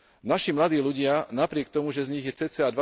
Naši mladí ľudia, napriek tomu, že z nich je cca.